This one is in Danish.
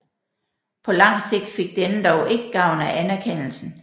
På lang sigt fik denne dog ikke gavn af anerkendelsen